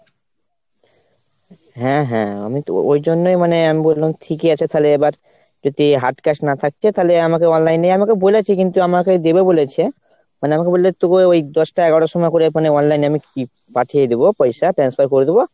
হ্যাঁ হ্যাঁ, আমিতো ওই জন্যই মানে আমি বললাম ঠিকই আছে তাহলে এবার যদি hard cash না থাকছে তাহলে আমাকে online এ আমাকে বলেছে কিন্তু আমাকে দেবে বলেছে। মানে আমাকে বললো তোকে ওই দশটা এগারোটার সময় করে মানে online এ পাঠিয়ে দেব পয়সা transfer করে দেব।